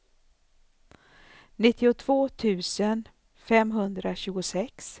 nittiotvå tusen femhundratjugosex